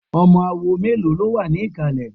Ọmọ awo mélòó ló wà ní ìkàlẹ̀?